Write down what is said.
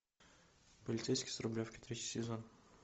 полицейский с рублевки третий сезон